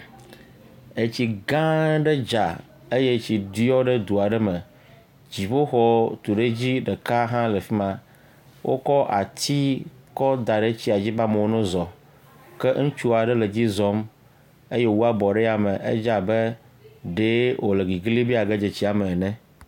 Etsi gãa aɖe dza eye etsi ɖiɔ ɖe do aɖe me. Dziƒoxɔ tuɖedzi ɖeka hã le fi ma. Wokɔ ati kɔda ɖe tsia dzi be amewo nozɔ. Ke ŋutsu aɖe le edzi zɔm eye wòwu abɔ ɖe yame dze abe ɖee wòle gigli be yeage dze tsia me ene